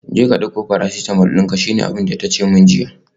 Jeka dauko paracetamol dinka, shine abinda tace min jiya